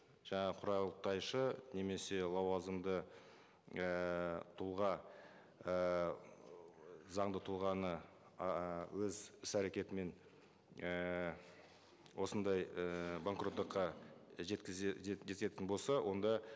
жаңағы құрылтайшы немесе лауазымды ііі тұлға ыыы заңды тұлғаны ыыы өз іс әрекетімен ііі осындай ііі банкроттыққа жететін болса онда